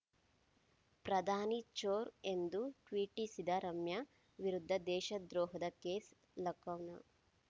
ಪ್ರಧಾನಿ ಚೋರ್‌ ಎಂದು ಟ್ವೀಟಿಸಿದ ರಮ್ಯಾ ವಿರುದ್ಧ ದೇಶದ್ರೋಹದ ಕೇಸ್‌ ಲಕೌನ್